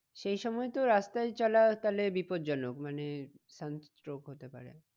সেই সময় তো রাস্তায় চলা তাহলে বিপদ জনক মানে sunstroke হতে পারে।